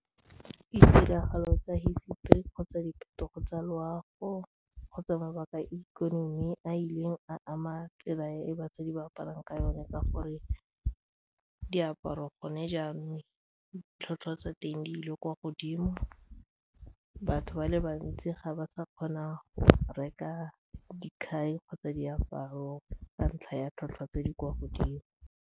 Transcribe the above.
Ditiragalo tsa hisetori kgotsa diphetogo tsa loago kgotsa mabaka a ikonomi a ileng a ama tsela e basadi ba aparang ka yone ka gore diaparo gone jaanong ditlhotlhwa tsa teng di ile kwa godimo, batho ba le bantsi ga ba sa kgona go reka dikhai kgotsa diaparo ka ntlha ya tlhotlhwa tse di kwa godimo.